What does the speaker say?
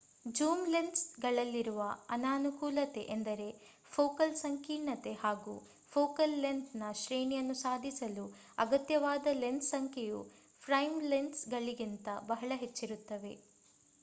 zoom lens ಗಳಲ್ಲಿರುವ ಅನಾನುಕೂಲತೆ ಎಂದರೆ ಫೋಕಲ್ ಸಂಕೀರ್ಣತೆ ಹಾಗೂ ಫೋಕಲ್ ಲೆಂತ್ ನ ಶ್ರೇಣಿಯನ್ನು ಸಾಧಿಸಲು ಅಗತ್ಯವಾದ ಲೆನ್ಸ್ ಸಂಖ್ಯೆಯು ಪ್ರೈಮ್ ಲೆನ್ಸ್ ಗಳಿಗಿಂತ ಬಹಳ ಹೆಚ್ಚಿರುತ್ತದೆ